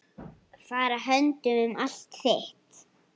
Fara höndum um allt þitt.